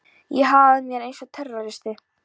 Ég hagaði mér eins og terroristi.